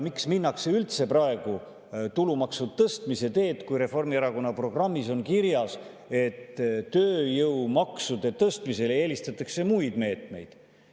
Miks minnakse üldse praegu tulumaksu tõstmise teed, kui Reformierakonna programmis on kirjas, et tööjõumaksude tõstmisele eelistatakse muid meetmeid?